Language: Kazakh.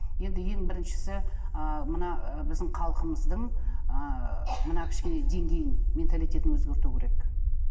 енді ең біріншісі ыыы мына ы біздің халқымыздың ыыы мына кішкене деңгейін менталитетін өзгерту керек